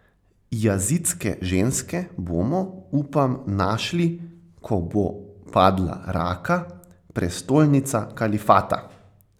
Jazidske ženske bomo, upam, našli, ko bo padla Raka, prestolnica kalifata.